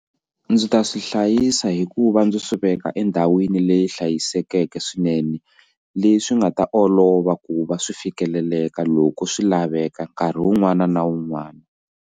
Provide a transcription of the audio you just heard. Ndzi ta swi hlayisa hikuva ndzi swi veka endhawini leyi hlayisekeke swinene leswi nga ta olova ku va swi fikeleleka loko swi laveka nkarhi wun'wana na wun'wana.